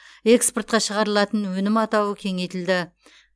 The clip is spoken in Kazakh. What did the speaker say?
экспортқа шығарылатын өнім атауы кеңейтілді